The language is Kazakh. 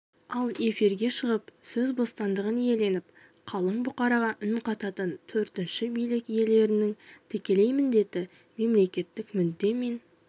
ал эфирге шығып сөз бостандығын иеленіп қалың бұқараға үн қататын төртінші билік иелерінің тікелей міндеті мемлекеттік мүдде мен